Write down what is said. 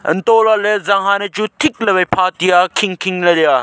hantolale janghaan e chu thik le wai pha tiya khing khing leya.